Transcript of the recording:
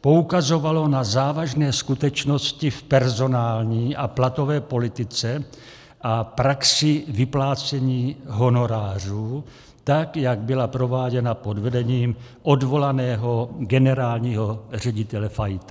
poukazovalo na závažné skutečnosti v personální a platové politice a praxi vyplácení honorářů, tak jak byla prováděna pod vedením odvolaného generálního ředitele Fajta.